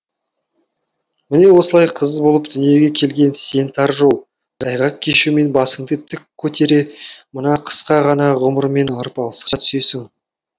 міне осылай қыз болып дүниеге келген сен тар жол тайғақ кешумен басыңды тік көтере мына қысқа қана ғұмырмен арпалысқа түсесің